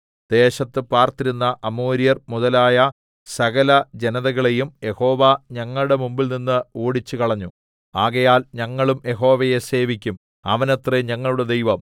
ദേശത്ത് പാർത്തിരുന്ന അമോര്യർ മുതലായ സകലജനതകളെയും യഹോവ ഞങ്ങളുടെ മുമ്പിൽനിന്ന് ഓടിച്ചുകളഞ്ഞു ആകയാൽ ഞങ്ങളും യഹോവയെ സേവിക്കും അവനത്രേ ഞങ്ങളുടെ ദൈവം